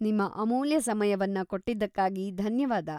ನಿಮ್ಮ ಅಮೂಲ್ಯ ಸಮಯವನ್ನ ಕೊಟ್ಟಿದ್ದಕ್ಕಾಗಿ ಧನ್ಯವಾದ.